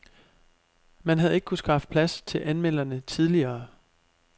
Man havde ikke kunnet skaffe plads til anmelderne tidligere.